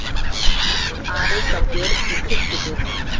Ari sá Björn í kirkjudyrunum.